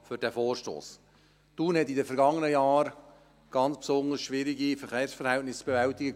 Thun hatte in den vergangenen Jahren ganz besonders schwierige Verkehrsverhältnisse zu bewältigen.